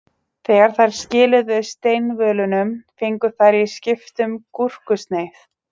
Þegar þær skiluðu steinvölunum fengu þær í skiptum gúrkusneið.